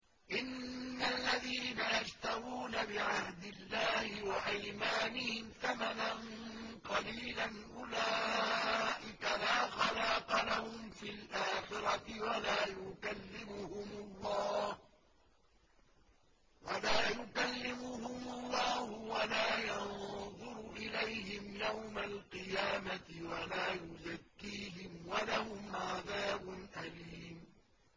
إِنَّ الَّذِينَ يَشْتَرُونَ بِعَهْدِ اللَّهِ وَأَيْمَانِهِمْ ثَمَنًا قَلِيلًا أُولَٰئِكَ لَا خَلَاقَ لَهُمْ فِي الْآخِرَةِ وَلَا يُكَلِّمُهُمُ اللَّهُ وَلَا يَنظُرُ إِلَيْهِمْ يَوْمَ الْقِيَامَةِ وَلَا يُزَكِّيهِمْ وَلَهُمْ عَذَابٌ أَلِيمٌ